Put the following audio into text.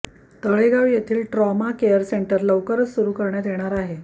तळेगाव येथील trauma care centre लवकरच सुरू करण्यात येणार आहे